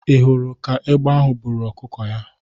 Ị hụrụ ka egbe ahụ buru ọkụkọ ya?